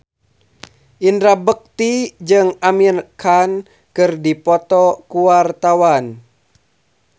Indra Bekti jeung Amir Khan keur dipoto ku wartawan